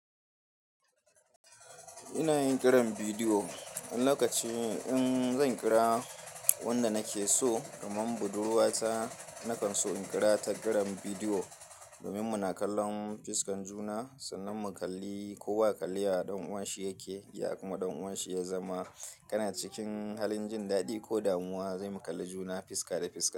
Ina yin ƙiran bidiyo, wani lokaci in zan ƙira wanda nake so, kaman budurwa ta na kan so in ƙira ta ƙiran bidiyo. Domin muna kallon fuskan juna sannan mu kalli ko wa ya kalli ya ɗan uwanshi yake, ya kuma ɗan uwanshi ya zama kana cikin halin jin daɗi ko damuwa, sai mu kalli juna fuska da fuska.